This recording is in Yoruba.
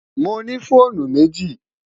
Mo ní fọ̀ònù mẹ́jì.